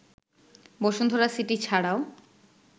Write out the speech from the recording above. Bashundhara city ছাড়াও